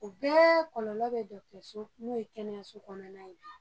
O bɛɛ kɔlɔlɔ bɛ dɔgɔtɔrɔso n'o ye kɛnɛso kɔnɔna ye